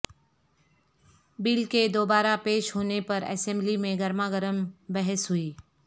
بل کے دو بارہ پیش ہونے پر اسمبلی میں گرما گرم بحث ہوئی